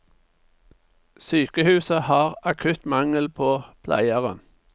Sykehuset har akutt mangel på pleiere.